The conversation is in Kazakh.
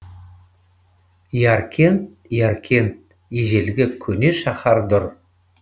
яркент яркент ежелгі көне шаһар дұр